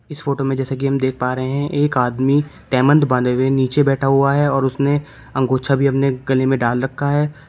इस फोटो में जैसे हम देख पा रहे हैं एक आदमी बांधे हुए नीचे बैठा हुआ है और उसने अंगोछा भी अपने गले में डाल रखा है।